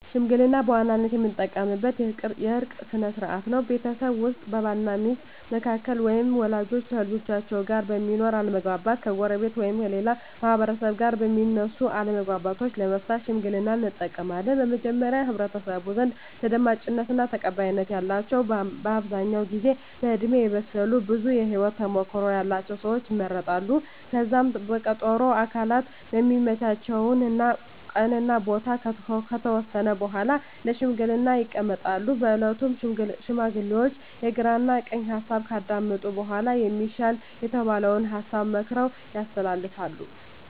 ሽምግልና በዋናነት የምንጠቀምበት የእርቅ ስነ ስርዓት ነው። ቤተሰብ ውስጥ በባል እና ሚስት መካከል ወይም ወላጆች ከልጆቻቸው ጋር በሚኖር አለመግባባት፣ ከጎረቤት ወይም ከሌላ ማህበረሰብ ጋር በሚነሱ አለመግባባቶች ለመፍታት ሽምግልናን እንጠቀማለን። በመጀመሪያ በህብረተሰቡ ዘንድ ተደማጭነት እና ተቀባይነት ያላቸው በአብዛኛው ጊዜ በእድሜ የበሰሉ ብዙ የህወት ተሞክሮ ያለቸው ሰወች ይመረጣሉ። ከዛም በቀጠሮ ሁምም አካላት የሚመቻቸውን ቀን እና ቦታ ከተወሰነ በኃላ ለሽምግልና ይቀመጣሉ። በእለቱም ሽማግሌዎቹ የግራ ቀኝ ሀሳብ ካዳመጡ በኃላ የሚሻል የተባለውን ሀሳብ መክረው ያስተላልፋሉ።